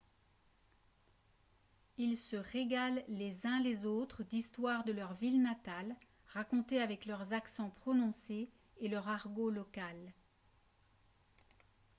ils se régalent les uns les autres d'histoires de leurs villes natales racontées avec leurs accents prononcés et leur argot local